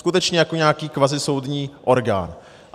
Skutečně jako nějaký kvazisoudní orgán.